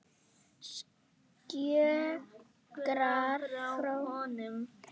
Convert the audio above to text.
Skjögrar frá honum.